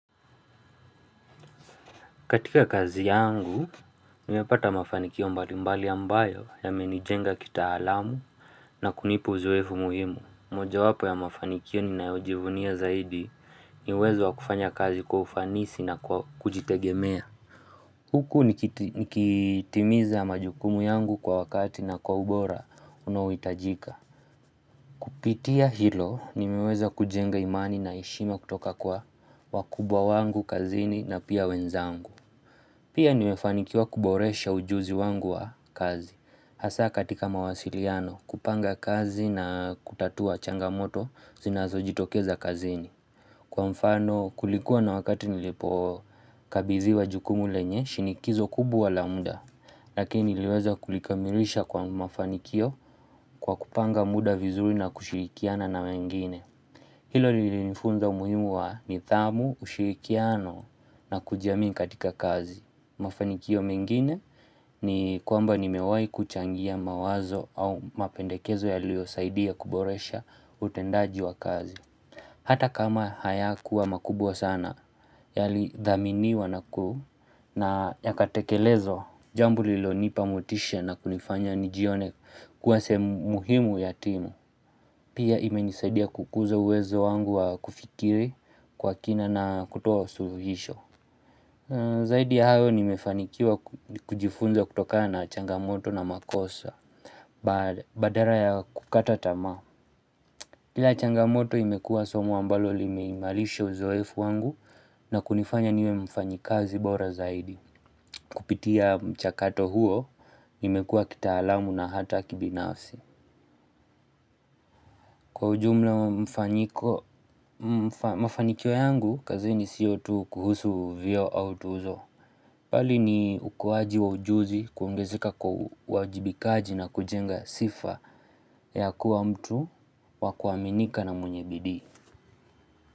Katika kazi yangu, nimepata mafanikio mbali mbali ambayo ya menijenga kita alamu na kunipa uzoefu muhimu. Moja wapo ya mafanikio ni naojivunia zaidi niuwezo wakufanya kazi kwaufanisi na kwa kujitegemea. Huku nikitimiza majukumu yangu kwa wakati na kwa ubora unaoitajika. Kukitia hilo, nimeweza kujenga imani na heshime kutoka kwa wakubwa wangu kazini na pia wenzangu. Pia nimefanikiwa kuboresha ujuzi wangu wa kazi, hasa katika mawasiliano, kupanga kazi na kutatua changamoto zinazo jitokeza kazini. Kwa mfano kulikuwa na wakati nilipo kabiziwa jukumu lenye, shinikizo kubwa lamuda, lakini niweza kulikamirisha kwa mafanikio kwa kupanga muda vizuri na kushirikiana na wengine. Hilo lilinifunza umuhimu wa nithamu, ushirikiano na kujiamini katika kazi. Mafanikio mengine ni kwamba ni mewai kuchangia mawazo au mapendekezo ya liyo saidia kuboresha utendaji wa kazi. Hata kama haya kuwa makubwa sana ya li dhaminiwa naku na ya katekelezo. Jambo lilo nipa motisha na kunifanya nijione kuwa sehe mu himu yatimu. Pia ime nisaidia kukuza uwezo wangu wa kufikiri kwa kina na kutoa suluhisho Zaidi ya hayo nimefanikiwa kujifunza kutoka na changamoto na makosa badala ya kukata tamaa Kila changamoto imekuwa somo ambalo limeimalisha uzoefu wangu na kunifanya niwe mfanyikazi bora zaidi Kupitia mchakato huo nimekuwa kita alamu na hata kibinafsi Kwa ujumla mafanikio yangu, kazi ni siyot kuhusu vio au tuzo. Bali ni ukuaji wa ujuzi, kuongezeka kwa wajibikaji na kujenga sifa ya kuwa mtu wakuaminika na mwenye bidii.